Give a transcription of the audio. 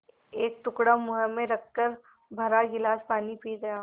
एक टुकड़ा मुँह में रखकर भरा गिलास पानी पी गया